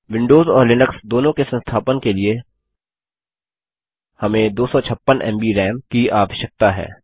Windows और Linux दोनों के संस्थापन के लिए हमें 256 एमबी राम की आवश्यकता है